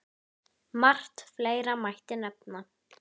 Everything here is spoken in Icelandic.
AÐ HALDA ANDLITI